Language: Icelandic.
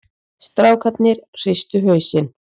Strákarnir hristu hausinn.